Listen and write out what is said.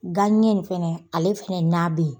Ganɲɛ nin fɛnɛ ale fɛnɛ n'a bɛ ye.